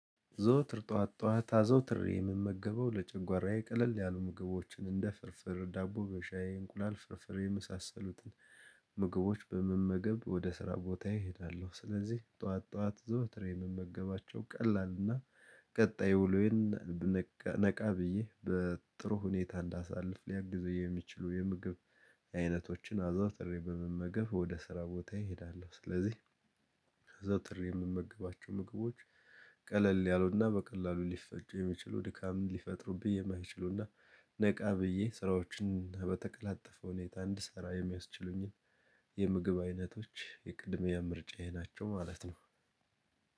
ዘውትር ጠዋት ጠዋት አዘውትሬ የምመገበው ለጨጓራዬ ቀለል ያሉ ምግቦችን እንደ ፍርፍር ዳቦ በሻዬ እንቁላል ፍርፍሬ የመሳሰሉትን ምግቦች በመመገብ ወደ ስራ ቦታዬ እሄዳለሁ። ስለዚህ ጠዋት ጠዋት ዘውትር የምመገባቸው ቀላል እና ቀጣይ ውሎዬን ነቃ ብዬ በጥሩ ሁኔታ እንዳሳልፍ ሊያግዘኝ የሚችሉ የምግብ አይነቶችን አዘውትሬ በመመገብ ወደ ስራ ቦታ ይሄዳሉ። ስለዚህ ከዛ ጥሪ የምመግባቸው ምግቦች ቀለል ያሉና በቀላሉ ሊፈጩ የሚችሉ ድካም ሊፈጥሩብኝ የማይችሉና ነቃ ብዬ ስራዎችን በተቀላጠፈ ሁኔታ እንድሰራ የሚያስችሉኝን የምግብ አይነቶች የቅድሚያ ምርጫዬ ናቸው ማለት ነው።